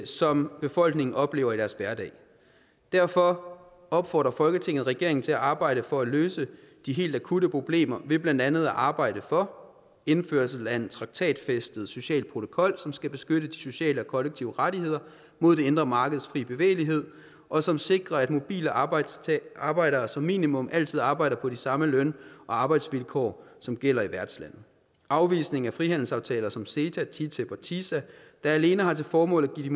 som befolkningerne oplever i deres hverdag derfor opfordrer folketinget regeringen til at arbejde for at løse de helt akutte problemer ved blandt andet at arbejde for indførelse af en traktatfæstet social protokol som skal beskytte de sociale og kollektive rettigheder mod det indre markeds frie bevægelighed og som sikrer at mobile arbejdere arbejdere som minimum altid arbejder på de samme løn og arbejdsvilkår som gælder i værtslandet afvisning af frihandelsaftaler som ceta ttip og tisa der alene har til formål at